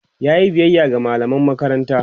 yayi biyaya ga mallaman makaranta?